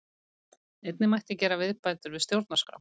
Einnig mætti gera viðbætur við stjórnarskrá